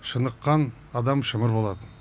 шыныққан адам шымыр болады